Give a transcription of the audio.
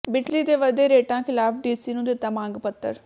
ਬਿਜਲੀ ਦੇ ਵਧੇ ਰੇਟਾਂ ਖਿਲਾਫ ਡੀਸੀ ਨੂੰ ਦਿੱਤਾ ਮੰਗ ਪੱਤਰ